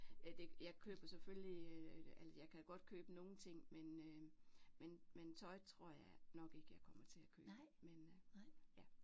Ja det jeg køber selvfølgelig eller jeg kan godt købe nogle ting men øh men men tøj tror jeg nok ikke jeg kommer til at købe men ja